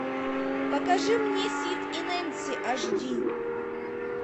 покажи мне сид и нэнси аш ди